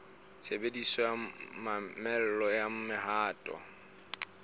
tshebediso ya mamello ya mohato